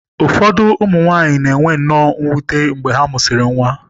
Ụfọdụ ụmụ nwanyị na-enwe nnọọ mwute mgbe ha mụsịrị nwa.